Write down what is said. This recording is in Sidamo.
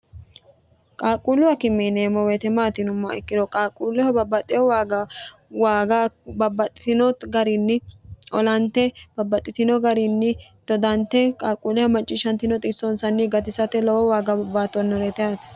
qaaqquulluha akime yineemmo weete maati yinummaha ikkiro qaaqquulleho babbaxxeho waaga waaga babbaxxitino garinni olante babbaxxitino garinni dodante qaaqquulleho maccishshantino xissoonsanni gatisate lowe waaga baattoonnoreete ate